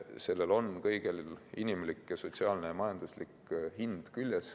Sellel kõigel on inimlik, sotsiaalne ja majanduslik hind.